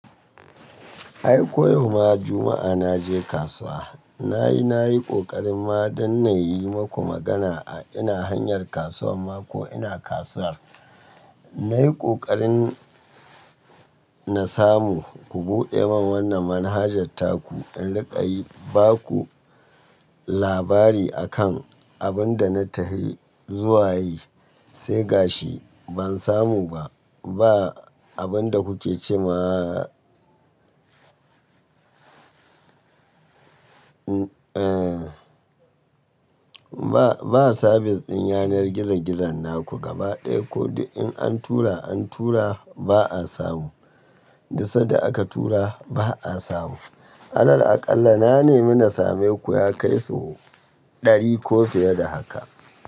Ai ko yau ma Juma'a naje kasuwa, nayi nayi ƙoƙarin ma dan nayi maku magana a ina hanyar kasuwar ma ko ina kasuwar. Nayi ƙoƙarin na samu ku buɗe min wannan manhajar taku in riƙa yi, baku labari akan abin da na tafi zuwa yi, sai ga shi ban samu ba. Ba abin da kuke ce ma eh ba sabis ɗin yanar gizo-gizo naku gaba ɗaya ko in an tura an tura ba a samu, duka sanda aka tura ba a samu. Alal aƙalla na nemi na same ku ya kai sau ɗari ko fiye da haka.